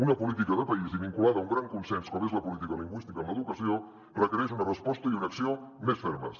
una política de país i vinculada a un gran consens com és la política lingüística en l’educació requereix una resposta i una acció més fermes